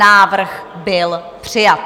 Návrh byl přijat.